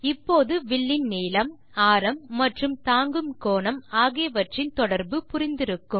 இப்போது வில்லின் நீளம் ஆரம் மற்றும் தாங்கு கோணம் ஆகியவற்றின் தொடர்பு புரிந்திருக்கும்